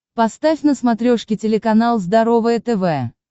поставь на смотрешке телеканал здоровое тв